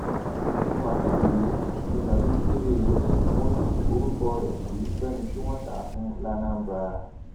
wọn jí mohammed gbé ní babí chidebere ni wọn yí orúkọ rẹ sí fẹni tí wọn tà á fún lanambra